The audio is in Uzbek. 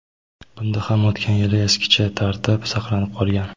Bunda ham o‘tgan yilgi eskicha tartib saqlanib qolgan:.